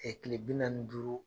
Kile bi naani ni duuru